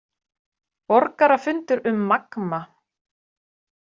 Borgarafundur um Magma